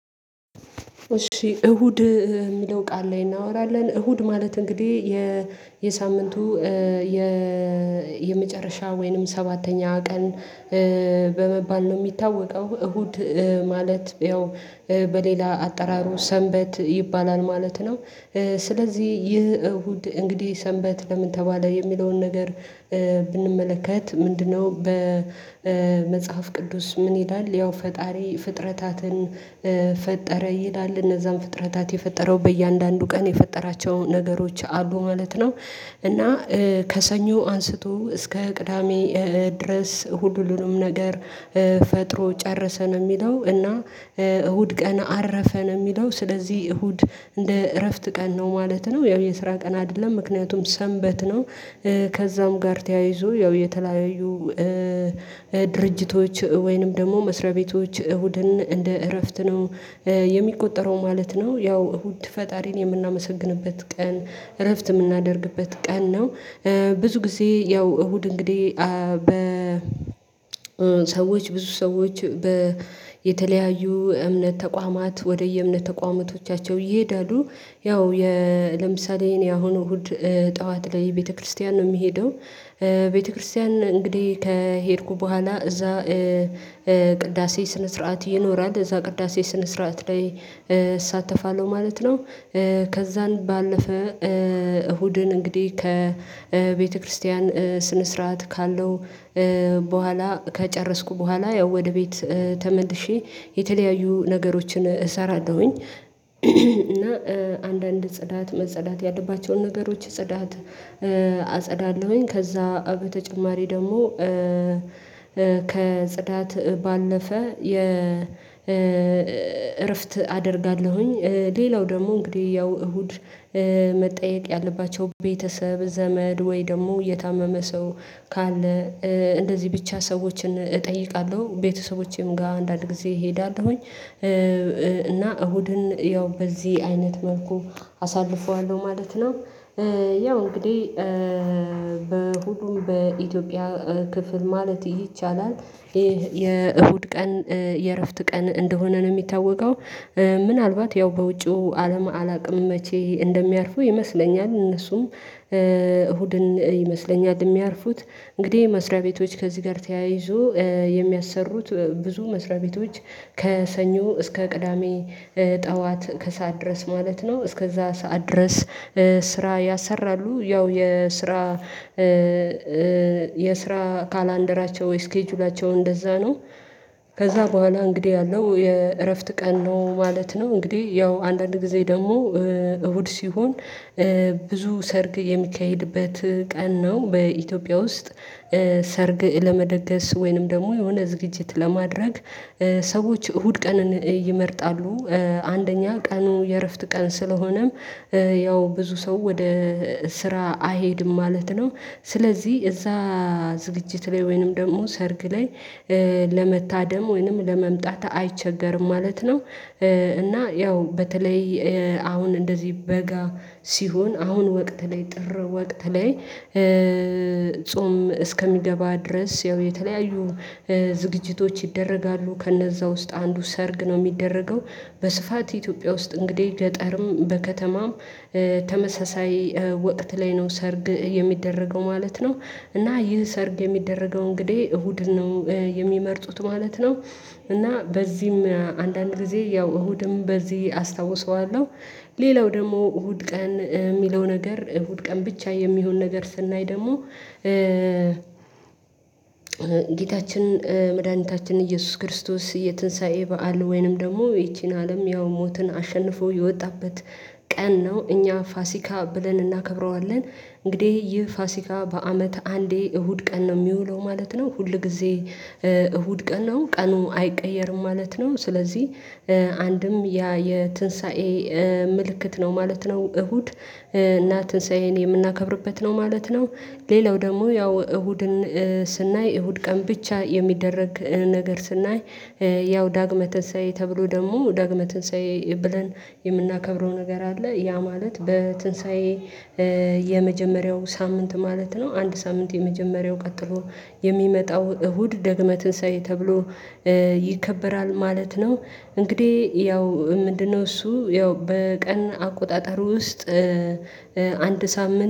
እሁድ የሚለው ቃል ላይ እናወራለን እሁድ ማለት እንግዲህ የሳምንቱ የመጨረሻ ወይንም ሰባተኛ ቀን በመባል ነው የሚታወቀው እሁድ ማለት ያው በሌላ አጠራሩ ሰንበት ይባላል ማለት ነው። ስለዚህ ይህ እሁድ እንግዲህ ሰንበት ለምን ተባለ የሚለውን ነገር ብንመለከት ምንድነው? በመጽሐፍ ቅዱስ ምን ይላል ያው ፈጣሪ ፍጥረታትን ፈጠረ ይላል እነዛን ፍጥረታት የፈጠረው በእያንዳንዱ ቀን የፈጠራቸው ነገሮች አሉ ማለት ነው። እና ከሰኞ አንስቶ እስከ ቅዳሜ ድረስ ሁሉንም ነገር ፈጥሮ ጨረሰ ነው የሚለው እና እሁድ ቀን አረፈ ነው የሚለው። ስለዚህ እሁድ እንደ እረፍት ቀን ነው ማለት ነው ያው የስራ ቀን አይደለም ምክንያቱም ሰንበት ነው። ከዛም ጋር ተያይዞ ያው የተለያዩ ድርጅቶች ወይንም ደግሞ መስሪያ ቤቶች እሁድን እንደ እረፍት ነው የሚቆጠረው ማለት ነው። ያው እሁድ ፈጣሪን የምናመሰግንበት ቀን እረፍት የምናደርግበት ቀን ነው። ብዙ ጊዜ ያው እሁድ እንግዲህ በ ሰዎች ብዙ ሰዎች የተለያዩ እምነት ተቋማት ወደየእምነት ተቋማቶቻቸው ይሄዳሉ። ያው ለምሳሌ የኔ አሁኑ እሁድ ጠዋት ላይ ቤተክርስቲያን ነው ሚሄደው ቤተክርስቲያን እንግዲህ ከሄድኩ በኋላ እዛ ቅዳሴ ስነ ስርዓት ይኖራል እዛ ቅዳሴ ስነ ስርዓት ላይ እሳተፋለሁ ማለት ነው። ከዛን ባለፈ እሁድን እንግዲህ ከቤተክርስቲያን ስነ ስርዓት ካለው በኋላ ከጨረስኩ በኋላ ያው ወደ ቤት ተመልሼ የተለያዩ ነገሮችን እሰራለሁኝ እና አንዳንድ ጽዳት መጽዳት ያለባቸውን ነገሮች ጽዳት አጸዳለሁኝ ከዛ በተጨማሪ ደግሞ ከጽዳት ባለፈ እረፍት አደርጋለሁኝ። ሌላው ደግሞ እንግዲህ ያው እሁድ መጠየቅ ያለባቸው ቤተሰብ ዘመድ ወይ ደግሞ የታመመ ሰው ካለ እንደዚህ ብቻ ሰዎችን እጠይቃለሁ ቤተሰቦቼም ጋር አንዳንድ ጊዜ እሄዳለሁኝ። እና እሁድን ያው በዚህ አይነት መልኩ አሳልፈዋለሁ ማለት ነው። ያው እንግዲህ በሁሉም በኢትዮጵያ ክፍል ማለት ይሄ ይቻላል ይሄ የእሁድ ቀን የእረፍት ቀን እንደሆነ ነው የሚታወቀው። ምናልባት ያው በውጪው አለማ አላውቅም መቼ እንደሚያርፉ ይመስለኛል እነሱም እሁድን ይመስለኛል የሚያርፉት እንግዲህ መስሪያ ቤቶች ከዚህ ጋር ተያይዞ የሚያሰሩት ብዙ መስሪያ ቤቶች ከሰኞ እስከ ቅዳሜ ጠዋት ከሰአት ድረስ ማለት ነው እስከዛ ሰዓት ድረስ ስራ ያሰራሉ ያው የስራ የስራ ካላንደራቸው ወይ ስኬጁላቸው እንደዛ ነው። ከዛ በኋላ እንግዲህ ያለው የእረፍት ቀን ነው ማለት ነው። እንግዲህ ያው አንዳንድ ጊዜ ደግሞ እሁድ ሲሆን ብዙ ሰርግ የሚካሄድበት ቀን ነው በኢትዮጵያ ውስጥ ሰርግ ለመደገስ ወይንም ደግሞ የሆነ ዝግጅት ለማድረግ ሰዎች እሁድ ቀን ይመርጣሉ። አንደኛ ቀኑ የእረፍት ቀን ስለሆነም ያው ብዙ ሰው ወደ ስራ አይሄድም ማለት ነው ስለዚህ እዛ ዝግጅት ላይ ወይንም ደግሞ ሰርግ ላይ ለመታደም ወይንም ለመምጣት አይቸገርም ማለት ነው። እና ያው በተለይ አሁን እንደዚህ በጋ ሲሆን አሁን ወቅት ላይ ጥር ወቅት ላይ ጾም እስከሚገባ ድረስ ያው የተለያዩ ዝግጅቶች ይደረጋሉ ከነዛ ውስጥ አንዱ ሰርግ ነው ሚደረገው በስፋት ኢትዮጵያ ውስጥ እንግዲህ ገጠርም በከተማም ተመሳሳይ ወቅት ላይ ነው ሰርግ የሚደረገው ማለት ነው። እና ይህ ሰርግ የሚደረገው እንግዲህ እሁድ ነው የሚመርጡት ማለት ነው። እና በዚህም አንዳንድ ጊዜ ያው እሁድም በዚህ አስታውሰዋለሁ ሌላው ደግሞ እሁድ ቀን ሚለው ነገር እሁድ ቀን ብቻ የሚሆን ነገር ስናይ ደግሞ ጌታችን መድኃኒታችን ኢየሱስ ክርስቶስ የትንሳኤ በዓል ወይንም ደግሞ ይቺን አለም ያው ሞትን አሸንፎ የወጣበት ቀን ነው እኛ ፋሲካ ብለን እናከብረዋለን እንግዲህ ይህ ፋሲካ በአመት አንዴ እሁድ ቀን ነው ሚውለው ማለት ነው ሁል ጊዜ እሁድ ቀን ነው ቀኑ አይቀየርም ማለት ነው ስለዚህ አንድም ያ የትንሳኤ ምልክት ነው ማለት ነው። እሁድ እና ትንሳኤን የምናከብርበት ነው ማለት ነው። ሌላው ደግሞ ያው እሁድን ስናይ እሁድ ቀን ብቻ የሚደረግ ነገር ስናይ ያው ዳግመ ትንሳኤ ተብሎ ደግሞ ዳግመ ትንሳኤ ብለን የምናከብረው ነገር አለ ያ ማለት በትንሳኤ የመጀመሪያው ሳምንት ማለት ነው አንድ ሳምንት የመጀመሪያው ቀጥሎ የሚመጣው እሁድ ደግመህ ትንሳኤ ተብሎ ይከበራል ማለት ነው። እንግዲህ ያው ምንድነው እሱ ያው በቀን አቆጣጠር ውስጥ አንድ ሳምንት